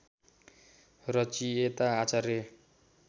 रचयिता आचार्य